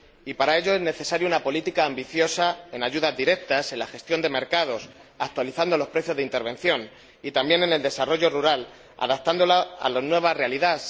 Y para ello es necesaria una política ambiciosa de ayudas directas, de gestión de mercados, actualizando los precios de intervención, y también de desarrollo rural, adaptando la PAC a la nueva realidad.